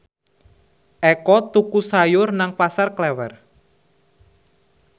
Eko tuku sayur nang Pasar Klewer